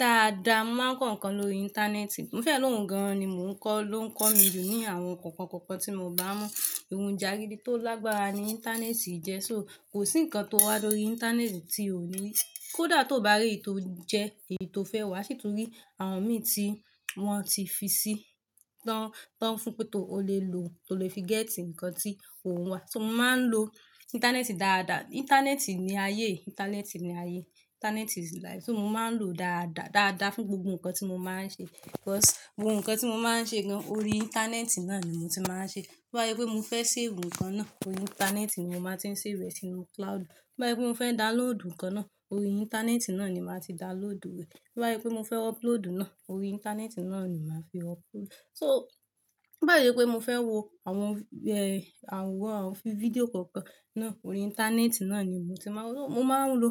Dáadáa, mo máa ń kọ nǹkan lórí íńtánẹ́ẹ̀tì. Mo fẹ́ lóhun gan-an ni mò ń kọ́, ló ń kọ́ mi jù ní àwọn nǹkan kọ̀ọ̀kan tí mi ò bá mọ̀. Ohun ìjaridi tó lágbára ni íńtánẹ́ẹ̀tì jẹ́, so kò sí nǹkan tó wá lórí íńtánẹ́ẹ̀tì tí o ò ní rí, kó dà tó bá rí èyí tó jẹ́ èyí tó fẹ́ wá, ṣì tún rí àwọn mìn tí wọ́n ti fi sí tán, tán fún pé tóo o lè lo, tó o lè fi gẹ́tì nǹkan tí ò n wà. So mo máa ń lo íńtánẹ́ẹ̀tì dáadáa. Íńtánẹ́ẹ̀tì ni ayé, íńtánẹ́ẹ̀tì ni ayé. Íńtánẹ́ẹ̀tì is life. So mo máa ń lò ó dáadáa, dáadáa fún gbogbo nǹkan tí mo máa ń ṣe. Because gbogbo nǹkan tí mo máa ń ṣe gan-an orí íńtánẹ́ẹ̀tì náà ni mo ti máa ń ṣe. Bó bá sé pé mo fẹ́ save nǹkan náà, orí íńtánẹ́ẹ̀tì ni mo máa ti ń save rẹ sínú cloud. Bá yé pé mo fẹ́ download nǹkan náà, orí íńtánẹ́ẹ̀tì náà ni màá ti download rẹ̀. Bá yé pé mo fẹ́ upload náà, orí íńtánẹ́ẹ̀tì náà ni màá fi upload. So bó bá sì sé pé mo fẹ́ wo àwọn, ẹh, àwọn fi-fídíò kọ̀ọ̀kan náà, orí íńtánẹ́ẹ̀tì náà ni mo ti máa ń wo. Mo máa ń lo